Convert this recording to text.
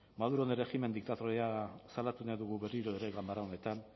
maduron erregimen diktatoriala salatu nahi dugu berriro ere ganbara honetan